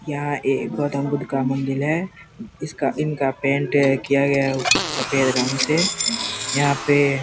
यहाँ एक गौतम बुद्ध का मंदिर है इसका इनका पेंट किया गया है सफ़ेद रंग से यहाँ पे --